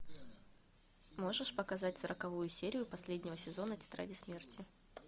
можешь показать сороковую серию последнего сезона тетради смерти